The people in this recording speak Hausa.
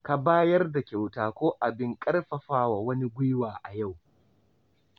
Ka bayar da kyauta ko abin ƙarfafawa wani gwuiwa a yau.